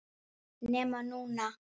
NEMA NÚNA!!!